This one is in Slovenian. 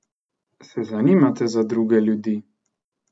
Se zanimate za druge ljudi?